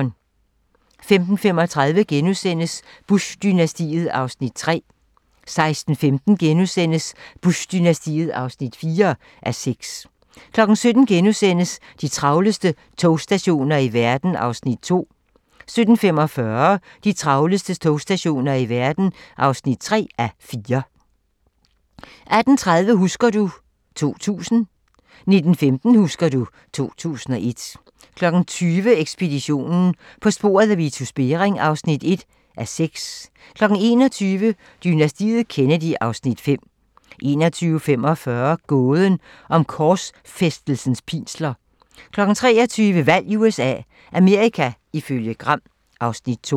15:35: Bush-dynastiet (3:6)* 16:15: Bush-dynastiet (4:6)* 17:00: De travleste togstationer i verden (2:4)* 17:45: De travleste togstationer i verden (3:4) 18:30: Husker du ... 2000 19:15: Husker du ... 2001 20:00: Ekspeditionen - På sporet af Vitus Bering (1:6) 21:00: Dynastiet Kennedy (Afs. 5) 21:45: Gåden om korsfæstelsens pinsler 23:00: Valg i USA - Amerika ifølge Gram (Afs. 2)